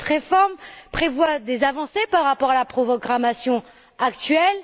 Cette réforme prévoit des avancées par rapport à la programmation actuelle.